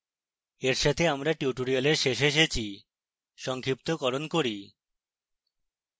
এর সাথে আমরা tutorial শেষে এসেছি